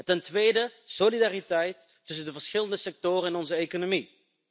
Ten tweede, solidariteit tussen de verschillende sectoren in onze economie.